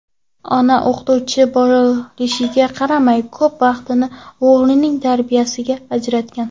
Onasi o‘qituvchi bo‘lishiga qaramay, ko‘p vaqtini o‘g‘lining tarbiyasiga ajratgan.